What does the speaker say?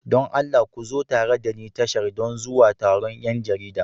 Don Allah ku zo tare da ni tashar don zuwa taron 'yan jarida.